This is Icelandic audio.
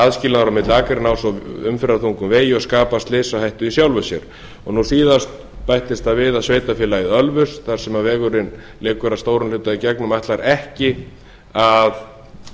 aðskilnaður milli akreina á svo umferðarþungum vegi og skapar slysahættu í sjálfu sér nú síðast bættist það við að sveitarfélagið ölfus þar sem vegurinn liggur að stórum hluta í gegnum ætlar ekki að